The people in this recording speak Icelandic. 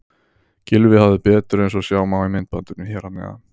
Gylfi hafði betur eins og sjá má í myndbandinu hér að neðan.